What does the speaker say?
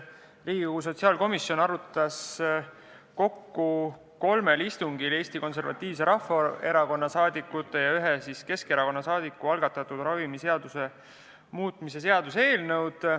Riigikogu sotsiaalkomisjon arutas kokku kolmel istungil Eesti Konservatiivse Rahvaerakonna saadikute ja ühe Keskerakonna saadiku algatatud ravimiseaduse muutmise seaduse eelnõu.